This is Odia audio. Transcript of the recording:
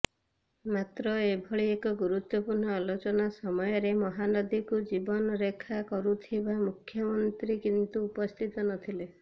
ମାତ୍ର ଏଭଳି ଏକ ଗୁରୁତ୍ବପୂର୍ଣ୍ଣ ଆଲୋଚନା ସମୟରେ ମହାନଦୀକୁ ଜୀବନ ରେଖା କହୁଥିବା ମୁଖ୍ୟମନ୍ତ୍ରୀ କିନ୍ତୁ ଉପସ୍ଥିତ ନଥିଲେ